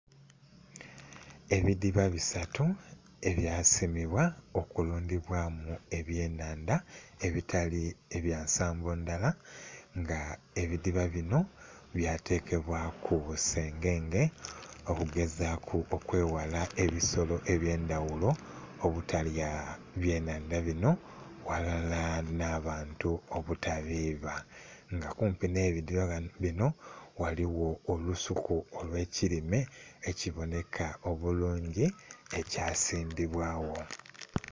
Ebidhiba bisatu ebyasimibwa okulundhibwamu ebyennhandha ebitali byansimbo ndhala nga ebidhiba bino byatekebwaku sengenge okugezaku okweghala ebisolo ebyendhaghulo obutalya ebyennhandha bino walala n'abantu obutabiba. Nga kumpi n'ebidhiba bino ghaligho olusuku olwekirime ekiboneka obulungi ekyasimbibwagho.